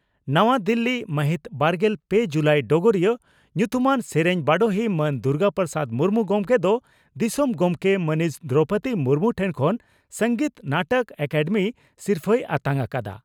ᱱᱟᱣᱟ ᱫᱤᱞᱤ ᱢᱟᱦᱤᱛ ᱵᱟᱨᱜᱮᱞ ᱯᱮ ᱡᱩᱞᱟᱭ ᱰᱚᱜᱚᱨᱤᱭᱟᱹ) ᱺ ᱧᱩᱛᱩᱢᱟᱱ ᱥᱮᱨᱮᱧ ᱵᱟᱰᱚᱦᱤ ᱢᱟᱱ ᱫᱩᱨᱜᱟ ᱯᱨᱚᱥᱟᱫᱽ ᱢᱩᱨᱢᱩ ᱜᱚᱢᱠᱮ ᱫᱚ ᱫᱤᱥᱚᱢ ᱜᱚᱢᱠᱮ ᱢᱟᱹᱱᱤᱡ ᱫᱨᱚᱣᱯᱚᱫᱤ ᱢᱩᱨᱢᱩ ᱴᱷᱮᱱ ᱠᱷᱚᱱ ᱥᱚᱝᱜᱤᱛ ᱱᱟᱴᱚᱠ ᱮᱠᱟᱰᱮᱢᱤ ᱥᱤᱨᱯᱷᱟᱹᱭ ᱟᱛᱟᱝ ᱟᱠᱟᱫᱼᱟ ᱾